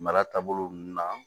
Mara taabolo nunnu na